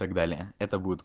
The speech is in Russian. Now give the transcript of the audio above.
так далее это будет